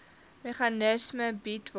meganisme bied waardeur